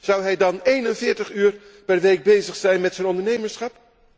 Zou hij dan 41 uur per week bezig zijn met zijn ondernemerschap?